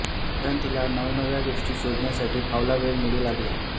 कारण तिला नवनव्या गोष्टी शोधण्यासाठी फावला वेळ मिळू लागला